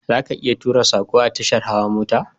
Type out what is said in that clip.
Zaka iya tura sako a tashar hawa mota